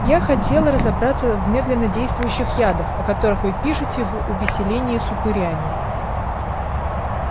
я хотела разобраться в медленнодействующих ядах о которых вы пишете в увеселении с упырями